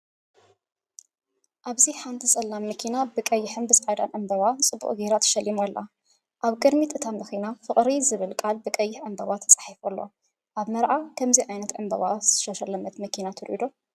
ኣብዚ ሓንቲ ጸላም መኪና ብቐይሕን ጻዕዳን ዕምባባታትን ጽቡቕ ጌራ ተሸሊማ ኣላ። ኣብ ቅድሚት እታ መኪና "ፍቕሪ" ዝብል ቃል ብቐይሕ ዕምባባታት ተጻሒፉ ኣሎ። ኣብ መርዓ ከምዚ ዓይነት ብዕምባባ ዝተሸለመት መኪና ትርኢዩ ዶ?